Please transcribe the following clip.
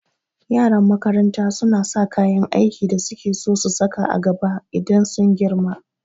Yaran makaranta suna sa kayan aikin da suke so su saka a gaba idan sun girma